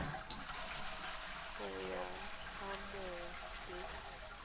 go yona ga mmogo le